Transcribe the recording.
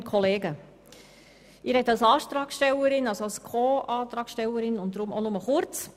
Ich spreche als Co-Antragstellerin und deshalb auch nur kurz.